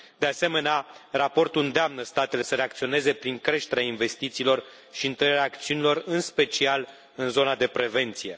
De asemenea, raportul îndeamnă statele să reacționeze prin creșterea investițiilor și întărirea acțiunilor, în special în zona de prevenție.